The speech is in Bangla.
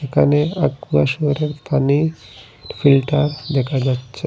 এখানে একোয়াশিয়রের পানি ফিল্টার দেখা যাচ্ছে।